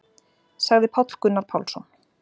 Sagði Páll Gunnar Pálsson.